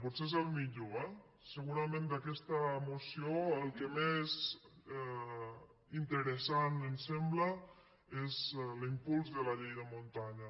potser és el millor eh segurament d’aquesta moció el que més interessant ens sembla és l’impuls de la llei de muntanya